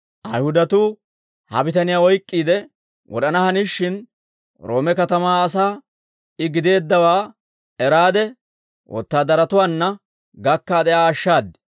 Ayihudatuu ha bitaniyaa oyk'k'iide wod'ana hanishin, Roome katamaa asaa I gideeddawaa eraade, wotaadaratuwaanna gakkaade Aa ashshaad.